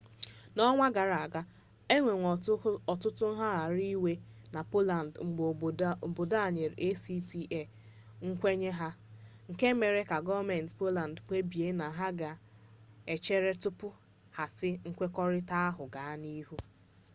n'ọnwa gara aga enwere ọtụtụ ngagharị iwe na poland mgbe obodo a nyere acta nkwenye ha nke mere ka gọọmenti poland kpebie na ha ka ga-echere tupu ha asị nkwekọrịta ahụ gaa n'ihu